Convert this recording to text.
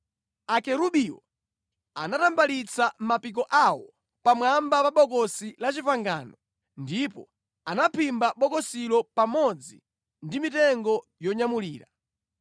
Akerubiwo anatambalitsa mapiko awo pamwamba pa Bokosi la Chipangano ndipo anaphimba bokosilo pamodzi ndi mitengo yonyamulira.